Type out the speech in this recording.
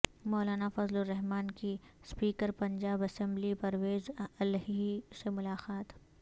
مولانا فضل الرحمان کی speaker Punjab assembly Pervaiz Elahi سے ملاقات